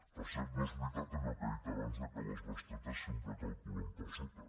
per cert no és veritat allò que ha dit abans que les bestretes sempre es calculen per sota